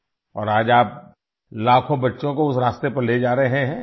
اور آج آپ لاکھوں بچوں کو اس راستے پر لے جا رہے ہیں